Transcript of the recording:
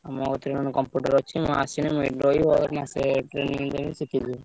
ମୋ କତିରେ ଗୋଟେ computer ଅଛି। ମୁଁ ଆସିଲେ ଏଠି ରହିବି ମାସେ training ଦେବି ଶିଖିଯିବୁ।